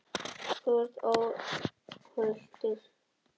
Það er stundum sælast að sofa, þú ert óhultur, heimurinn nær ekki til þín.